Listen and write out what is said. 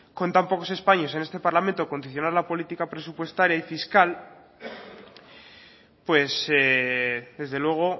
con tan pocos escaños en este parlamento condicionar la política presupuestaria y fiscal pues desde luego